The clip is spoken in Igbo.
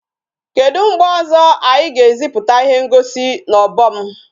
Kedu mgbe ọzọ anyị ga-eziputa ihe ngosi n'obom?